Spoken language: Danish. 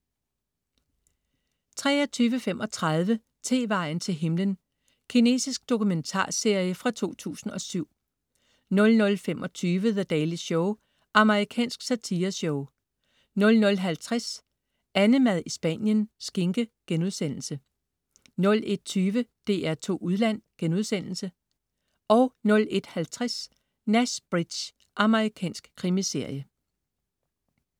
23.35 Tevejen til himlen. Kinesisk dokumentarserie fra 2007 00.25 The Daily Show. Amerikansk satireshow 00.50 AnneMad i Spanien. Skinke* 01.20 DR2 Udland* 01.50 Nash Bridges. Amerikansk krimiserie